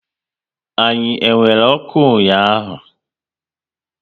Anyi e nwere ọkụ ụnyaahụ?